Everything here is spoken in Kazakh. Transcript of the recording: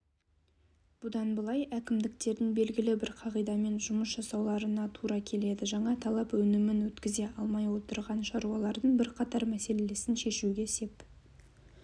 бұдан былай әкімдіктердің белгілі бір қағидамен жұмыс жасауларына тура келеді жаңа талап өнімін өткізе алмай отырған шаруалардың бірқатар мәселесін шешуге сеп